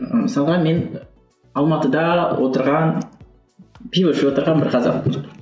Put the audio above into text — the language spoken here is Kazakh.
мысалға мен алматыда отырған пива ішіп отырған бір қазақпын